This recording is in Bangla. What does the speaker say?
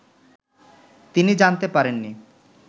তিনি জানতে পারেননি